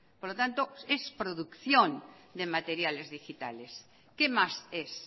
por lo tanto es producción de materiales digitales qué más es